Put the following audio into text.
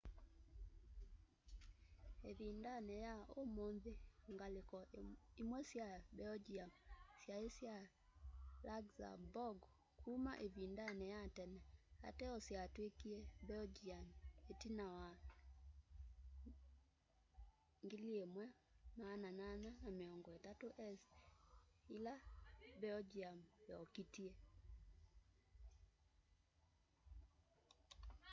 ivindani ya umunthi ngaliko imwe sya belgium syai sya luxembourg kuma ivindani ya tene ateo yatwikie belgian itina wa 1830s ila belgium yokitie